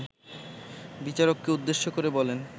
বিচারককে উদ্দেশ্য করে বলেন